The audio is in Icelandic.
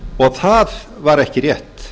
og það var ekki rétt